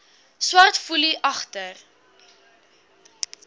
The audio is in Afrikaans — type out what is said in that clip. swart foelie agter